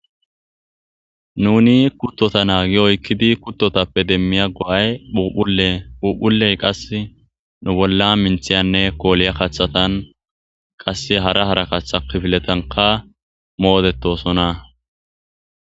nuni kuttota naagi oykkidi kuttotappe demmiya go7ay uhuphuley qas nu bolla minthiyanne kooliya kathatan qasse hara harakaththa kifiletanka moodettosona